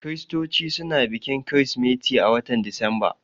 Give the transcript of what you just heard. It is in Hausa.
Kiristoci suna bikin kirismeti a watan Disamba